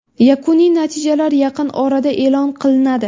Yakuniy natijalar yaqin orada e’lon qilinadi.